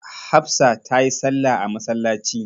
Hafsa ta yi salla a masallaci.